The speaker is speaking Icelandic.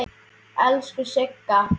Elsku Sigga.